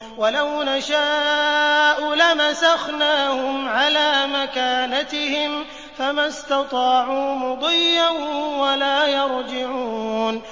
وَلَوْ نَشَاءُ لَمَسَخْنَاهُمْ عَلَىٰ مَكَانَتِهِمْ فَمَا اسْتَطَاعُوا مُضِيًّا وَلَا يَرْجِعُونَ